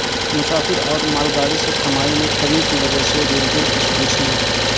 مسافر اور مال گاڑی سے سے کمائی میں کمی کی وجہ سے ریلوے تشویش میں